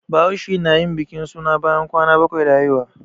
Bahaushe na yin bikin suna bayan kwana bakwai da haihuwa